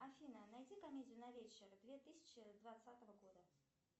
афина найди комедию на вечер две тысячи двадцатого года